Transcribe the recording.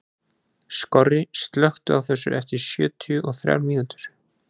Skorri, slökktu á þessu eftir sjötíu og þrjár mínútur.